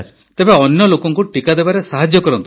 ତ ଅନ୍ୟ ଲୋକଙ୍କୁ ଟିକା ଦେବାରେ ସାହାଯ୍ୟ କରନ୍ତୁ